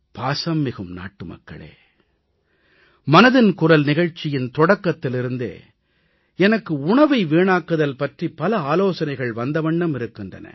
பாசம்மிகு நாட்டுமக்களே மனதின் குரல் நிகழ்ச்சியின் தொடக்கத்திலிருந்தே எனக்கு உணவை வீணாக்குதல் பற்றி பல ஆலோசனைகள் வந்த வண்ணம் இருக்கின்றன